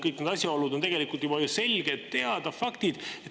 Kõik need asjaolud on tegelikult selgelt teada faktid.